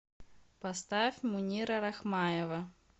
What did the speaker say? поставь мунира рахмаева